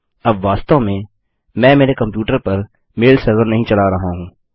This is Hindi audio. अब वास्तव में मैं मेरे कम्प्यूटर पर मेल सर्वर नहीं चला रहा हूँ